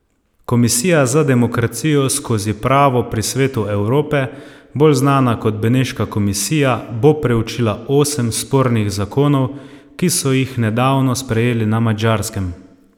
Komisija za demokracijo skozi pravo pri Svetu Evrope, bolj znana kot Beneška komisija, bo preučila osem spornih zakonov, ki so jih nedavno sprejeli na Madžarskem.